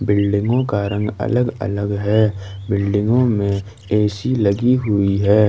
बिल्डिंगो का रंग अलग अलग है बिल्डिंगों में ऐ सी लगी हुई है।